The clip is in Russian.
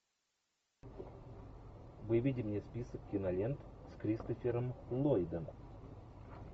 выведи мне список кинолент с кристофером ллойдом